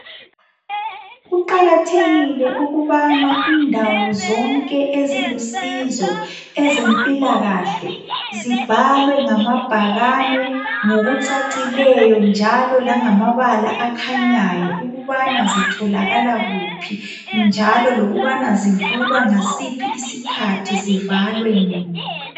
Kuqakathekile ukuthi indawo zonke ezilusizo kwezempilakahle zibhalwe ngamabhakane njalo langokucacileyo ukuthi zitholakala kuphi njalo lokuthi zivulwa ngasiphi isikhathi zivalwe nini.